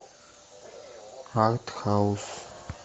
артхаус